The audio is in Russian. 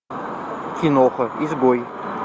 киноха изгой